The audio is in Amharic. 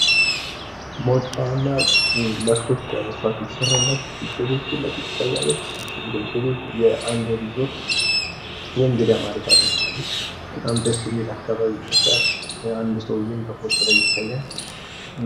መውጫዋና መስኮት በመስታዋት የተሰራላት ጎጆቤት ፊት ለፊት ትታያለች። ይችም ጎጆቤት የአንድ እሪዞርት የእግዳ ማረፊያ ትመስላለች። በጣም ደስ የሚል አካባቢ ይመስላል። አንድ ሰውዬም በፎቶ ላይ ይታያል።